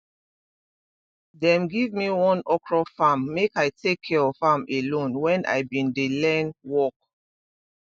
dem give me one small okro farm make i take care of am alone when i been dey learn work